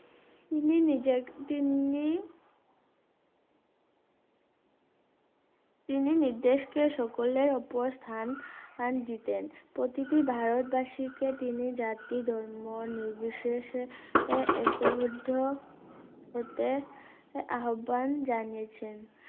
তিনি নির্দেশকে সকলের উপর স্থান স্থান দিতেন প্রতিটি ভারতবাসিকে তিনি জাতি ধর্ম নির্বিশেষে আহ একোবদ্ধ হতে আহ্বান জানিয়েছেন